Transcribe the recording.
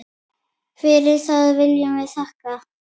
Fyrir það viljum við þakka.